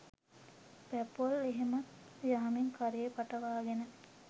පැපොල් එහෙමත් යහමින් කරේ පටවගෙන